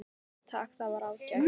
Jú takk, það var ágætt